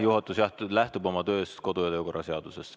Juhatus lähtub oma töös kodu‑ ja töökorra seadusest.